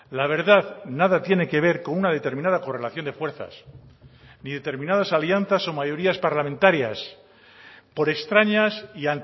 la verdad nada tiene que ver con una determinada correlación de fuerzas ni determinadas alianzas o mayorías parlamentarias por extrañas y